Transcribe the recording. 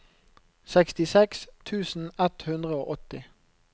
sekstiseks tusen ett hundre og åtti